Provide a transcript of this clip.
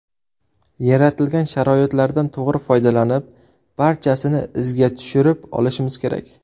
Yaratilgan sharoitlardan to‘g‘ri foydalanib, barchasini izga tushirib olishimiz kerak.